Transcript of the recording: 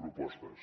propostes